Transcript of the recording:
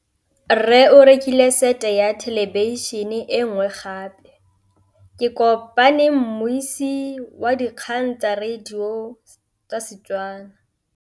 Rre o rekile sete ya thêlêbišênê e nngwe gape. Ke kopane mmuisi w dikgang tsa radio tsa Setswana.